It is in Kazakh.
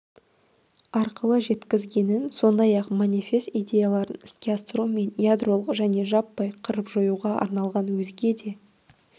арқылы жеткізгенін сондай-ақ манифест идеяларын іске асыру мен ядролық және жаппай қырып-жоюға арналған өзге де